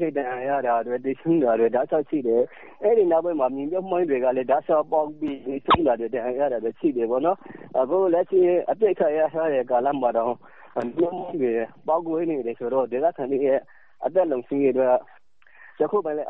သေဆုံးတာတွေ ဒဏ်ရာရတာတွေ ရှိတယ်ဆိုတော့ အဲဒီနောက်ပိုင်း မြေမြုပ်မိုင်းတွေကလည်း တောက်လျောက်ပေါက်လာတယ်ဆိုတော့ အခုလက်ရှိ အပစ်အခတ် ရပ်ထားတဲ့ ကာလမှာတောင်မှ မိုင်းတွေ ပေါက်ကွဲနေတယ်ဆိုတော့ ဒေသခံတွေရဲ့ အသက်လုံခြုံရေးအတွက်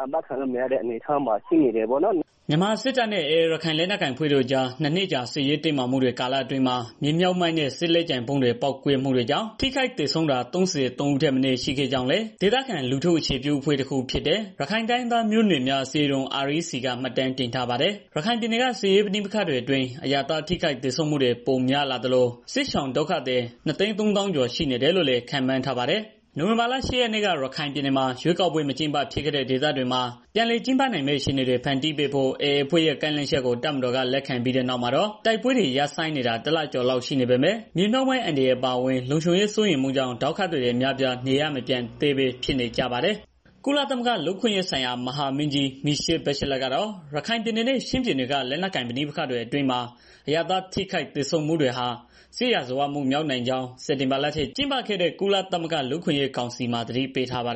အာမှခံလို့မရတဲ့ အနေအထားမှာရှိနေတယ်ပေါ့နော်။” မြန်မာစစ်တပ်နဲ့ AA ရခိုင်လက်နက်ကိုင်အဖွဲ့တို့အကြား ၂ နှစ်တာ စစ်ရေးတင်းမာမှု ကာလအတွင်း မြေမြှုပ်မိုင်းနဲ့ စစ်လက်ကျန်ဗုံးတွေ ပေါက်ကွဲမှုကြောင့် ထိခိုက်သေဆုံးတာ ၃၃ ဦးထက်မနည်း ရှိခဲ့ကြောင်းလည်း ဒေသခံ လူထုအခြေပြုအဖွဲ့ တခုဖြစ်တဲ့ ရခိုင်တိုင်းရင်းသားမျိုးနွယ်များ အစည်းအရုံး (REC) ကမှတ်တမ်းတင်ထားပါတယ်။ ရခိုင်ပြည်နယ်က စစ်ရေးပဋိပက္ခတွေအတွင်း အရပ်သား ထိခိုက်သေဆုံးမှုတွေ ပိုများလာသလို စစ်ရှောင်ဒုက္ခသည် ၂၃၀,၀၀၀ ကျော် ရှိနေပြီလို့လည်း ခန့်မှန်းထားပါတယ်။ နိုဝင်ဘာလ ၈ ရက်နေ့က ရခိုင်ပြည်နယ်မှာ ရွေးကောက်ပွဲ မကျင်းပဖြစ်ခဲ့တဲ့ ဒေသတွေမှာ ပြန်လည်ကျင်းပနိုင်မယ့် အခြေအနေတွေ ဖန်တီးပေးဖို့ AA အဖွဲ့ရဲ့ ကမ်းလှမ်းချက်ကို တပ်မတော်က လက်ခံခဲ့ပြီးနောက် တိုက်ခိုက်မှုတွေ ရပ်ဆိုင်းနေတာ ၁ လကျော်လောက် ရှိနေပေမဲ့ မြေမြှုပ်မိုင်းအန္တရာယ် အပါအဝင် လုံခြုံရေးစိုးရိမ်မှုကြောင့် ဒုက္ခသည်တွေ အများအပြား နေရပ်မပြန်ရဲသေးပဲ ဖြစ်နေပါတယ်။ ကုလသမဂ္ဂ လူ့အခွင့်အရေးဆိုင်ရာ မဟာမင်းကြီး Michelle Bachelet (မီရှဲ ဘက်ရှလတ်) ကတော့ ရခိုင်ပြည်နယ်နဲ့ ချင်းပြည်နယ်တွေက လက်နက်ကိုင် ပဋိပက္ခတွေအတွင်း အရပ်သား ထိခိုက်သေဆုံးမှုတွေဟာ စစ်ရာဇဝတ်မှုမြောက်နိုင်ကြောင်း စက်တင်ဘာလထဲ ကျင်းပခဲ့တဲ့ ကုလသမဂ္ဂ လူ့အခွင့်အရေးကောင်စီမှာ သတိပေးထားပါတယ်